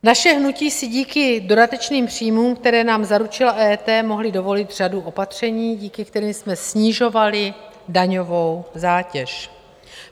Naše hnutí si díky dodatečným příjmům, které nám zaručila EET, mohla dovolit řadu opatření, díky kterým jsme snižovali daňovou zátěž.